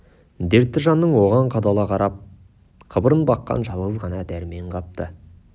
дертті жанның оған қадала қарап қыбырын баққан жалғыз ғана дәрмен қапты